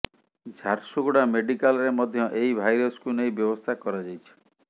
ଝାରସୁଗୁଡା ମେଡିକାଲରେ ମଧ୍ୟ ଏହି ଭାଇରସକୁ ନେଇ ବ୍ୟବସ୍ଥା କରାଯାଇଛି